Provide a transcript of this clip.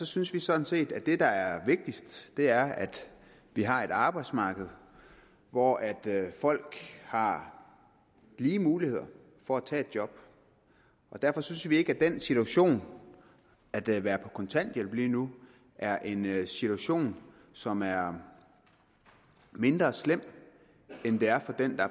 synes vi sådan set at det der er vigtigst er at vi har et arbejdsmarked hvor folk har lige muligheder for at tage et job og derfor synes vi ikke at den situation at være på kontanthjælp lige nu er en situation som er mindre slem end det er for den der